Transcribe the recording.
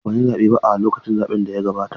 A'a ban yi zaɓe ba a lokacin zaɓen da ya gabata.